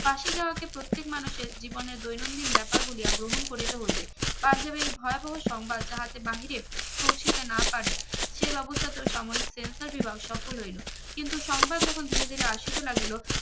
ফাঁসি যাওয়াকে প্রত্যেক মানুষের জীবনের দৈনন্দিন ব্যাপার বলিয়া গ্রহণ করিতে হইবে পাঞ্জাবে এই ভয়াবহ সংবাদ যাহাতে বাহিরে পৌঁছিতে না পারে সে ব্যবস্থা তো সামরিক sensor বিভাগ সফল হইলো কিন্তু সংবাদ যখুন ধিরে ধিরে আসিতে লাগিলো